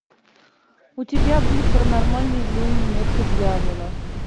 у тебя будет паранормальное явление метка дьявола